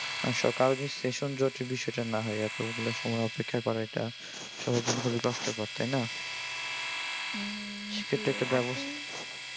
আশা করি যে session জটের বিষয়টা না হয় এতগুলা সময় অপেক্ষা করা এটা সবার জন্য বিরক্তিকর তাই না? সেটা একটা ব্যবস্থা